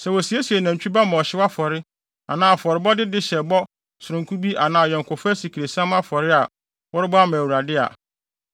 “ ‘Sɛ wosiesie nantwi ba ma ɔhyew afɔre anaa afɔrebɔde de hyɛ bɔ sononko bi anaa ayɔnkofa asikresiam afɔre a worebɔ ama Awurade a,